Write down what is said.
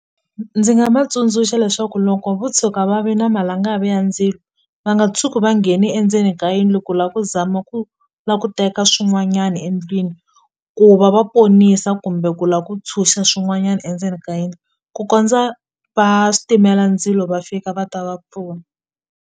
Ndzi nga va tsundzuxa leswaku loko vo tshuka va ve na malangavi ya ndzilo va nga tshuki va ngheni endzeni ka yindlu ku la ku zama ku la ku teka swin'wanyani endlwini ku va va ponisa kumbe ku la ku tshuxa swin'wanyana endzeni ka yindlu ku kondza va switimela ndzilo va fika va ta va pfuna.